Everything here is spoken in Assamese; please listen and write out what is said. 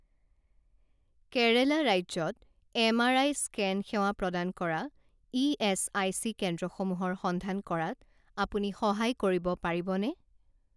কেৰেলা ৰাজ্যত এম আৰ আই স্কেন সেৱা প্ৰদান কৰা ইএচআইচি কেন্দ্ৰসমূহৰ সন্ধান কৰাত আপুনি সহায় কৰিব পাৰিবনে?